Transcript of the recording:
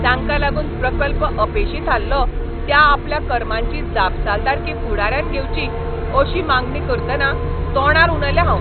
जांका लागून प्रकल्प अपेशी थारलो त्या आपल्या कर्मांची जापसालदारकी फुडाऱ्यान घेवची अशी मागणी करतना तोंडार उलयलें हांव.